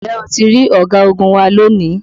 Ǹjẹ́ o ti rí ọ̀gagun wa lónìí?